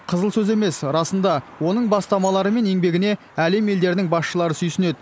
қызыл сөз емес расында оның бастамалары мен еңбегіне әлем елдерінің басшылары сүйсінеді